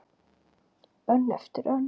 Önn eftir önn.